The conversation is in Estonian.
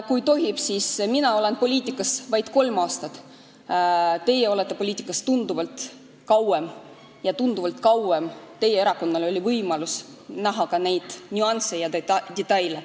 Kui tohib, siis ütlen, et mina olen poliitikas olnud vaid kolm aastat, teie olete poliitikas olnud tunduvalt kauem ja tunduvalt kauem on teie erakonnal olnud võimalus näha ka neid nüansse ja detaile.